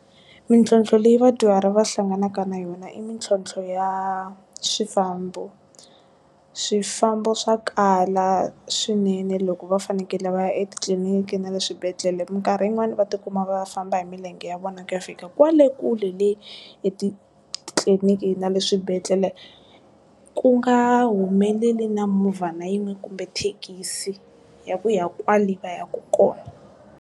Mintlhotlho leyi vadyuhari va hlanganaka na yona i mitlhontlho ya swifambo swifambo swa kala swinene loko va fanekele va ya etitliliniki na le swibedhlele mikarhi yin'wana va tikuma va famba hi milenge ya vona ku ya fika kwale kule le, etitliliniki na le swibedhlele ku nga humeleli na movha na yin'we kumbe thekisi ya ku ya kwale va ya ku kona.